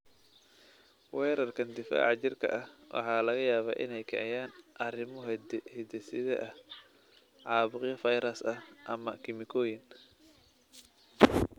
Weerarkan difaaca jirka ah waxaa laga yaabaa inay kiciyaan arrimo hidde-side ah, caabuqyo fayras ah, ama kiimikooyin.